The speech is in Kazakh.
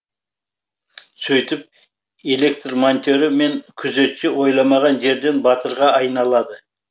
сөйтіп электр монтері мен күзетші ойламаған жерден батырға айналады